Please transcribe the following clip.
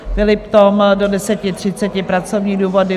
Philipp Tom - do 10.30, pracovní důvody;